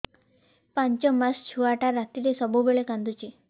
ପାଞ୍ଚ ମାସ ଛୁଆଟା ରାତିରେ ସବୁବେଳେ କାନ୍ଦୁଚି